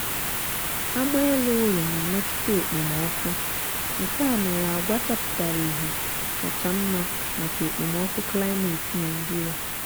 agba ele-ụlọ na-emetụta ekpomọọkụ nkea mere agwa chapụtara ihe kacha nma maka ekpomọọkụ klimeti nigeria